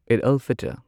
ꯑꯩꯗ ꯑꯜ ꯐꯤꯇꯔ